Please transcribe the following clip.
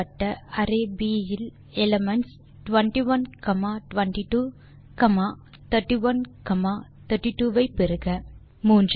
கொடுக்கப்பட்ட அரே ப் array10 11 12 13 20 21 22 23 30 31 32 33 40 41 42 43 elements 21 22 comma 31 32 ஐ பெறுக